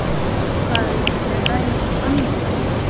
Hvað viltu ræða um annað?